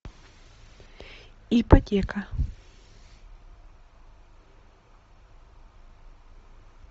ипотека